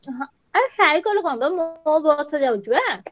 ହଁ cycle କଣ ବା ମୋ bus ଯାଉଚି ବା।